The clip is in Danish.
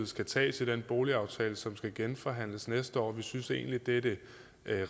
skal tages i den boligaftale som skal genforhandles næste år vi synes egentlig at det er det